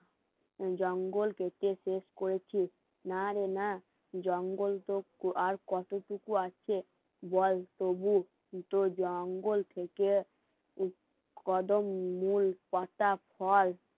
জঙ্গল কেটে শেষ করেছি নারে না জঙ্গল তো আর কিছু আছে বল তবুও জঙ্গল থেকে কদম মুল পাতা ফল